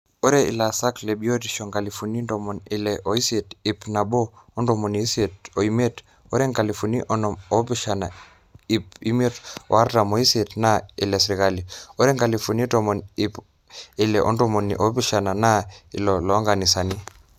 eetae ilaasak lebiotisho nkalifuni ntomoni ile oisiet ip nabo ontomoni isiet oimiet ore nkalifuni onom oopishana ip imiet o artam ooisiet naa ile sirkali ore nkalifuni tomon ip ile otomoniuni oopishana naa iloo nkanisani